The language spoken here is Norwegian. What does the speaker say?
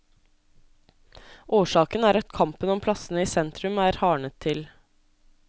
Årsaken er at kampen om plassene i sentrum er hardnet til.